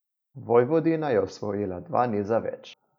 Vojvodina je osvojila dva niza več.